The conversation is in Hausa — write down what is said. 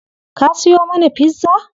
Ka siyo mana pizza?